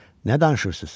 Nə danışırsız?